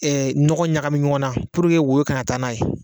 Ɛɛ ɲɔgɔ ɲagami ɲɔgɔn na puruke woyo ka na taa n'a ye